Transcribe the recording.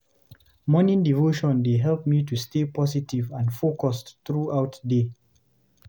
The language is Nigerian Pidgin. Morning devotion dey help me to stay positive and focused throughout day.